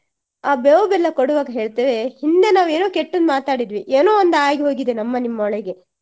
ಆ ಬೇವು ಬೆಲ್ಲ ಕೊಡುವಾಗ ಹೇಳ್ತೀವೇ ಹಿಂದೆ ನಾವೇನೋ ಕೆಟ್ಟದು ಮಾತಾಡಿದ್ವಿ ಎನೋವೊಂದ್ ಆಗಿ ಹೋಗಿದೆ ನಮ್ಮ ನಿಮ್ಮ ಒಳಗೆ